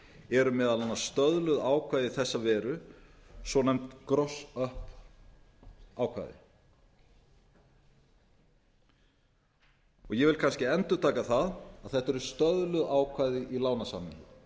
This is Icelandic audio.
eru meðal annars stöðluð ákvæði í þessa veru svonefnd gross up ákvæði ég vil kannski endurtaka það að þetta eru stöðluð ákvæði í lánasamningi